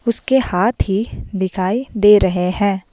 उसके हाथ ही दिखाई दे रहे हैं।